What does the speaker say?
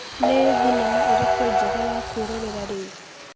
Nĩ thenema ĩrĩkũ njega ya kwĩrorera rĩu?